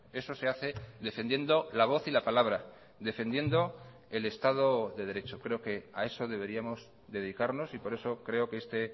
eso se hace defendiendo la voz y la palabra defendiendo el estado de derecho creo que a eso deberíamos dedicarnos y por eso creo que este